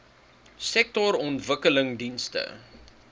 sektorontwikkelingdienste